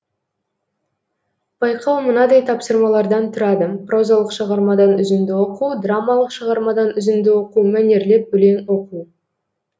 байқау мынадай тапсырмалардан тұрады прозалық шығармадан үзінді оқу драмалық шығармадан үзінді оқу мәнерлеп өлең оқу